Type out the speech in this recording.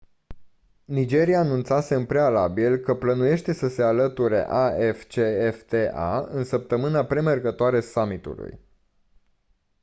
nigeria anunțase în prealabil că plănuiește să se alăture afcfta în săptămâna premergătoare summitului